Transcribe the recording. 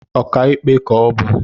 Okiikpe ka ọ bu